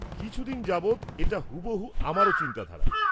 -কিছুদিন যাবৎ এটা হুবহু আমারও চিন্তাধারা।